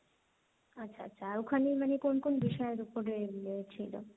আচ্ছা আচ্ছা, ওখানে মানে কোন কোন বিষয়ের উপরে ইয়ে ছিল?